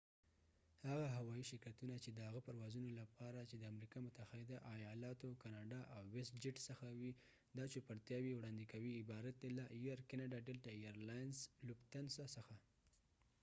هغه هوایی شرکتونه چېد هغه پروازونو لپاره چې د امریکا متحده آیالاتو کاناډا او ویست جیټ څخه وي دا چوپرتیاوې وړاندې کوي عبارت دي له air canada delta air lines lufthansa څخه